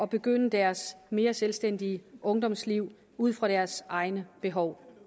påbegynde deres mere selvstændige ungdomsliv ud fra deres egne behov